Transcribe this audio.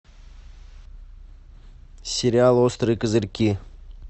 сериал острые козырьки